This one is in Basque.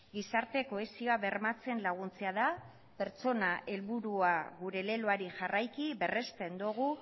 gizarte kohesioa bermatzen laguntzea da pertsona helburua gure leloari jarraiki berresten dugu